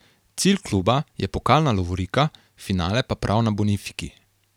Cilj kluba je pokalna lovorika, finale pa prav na Bonifiki.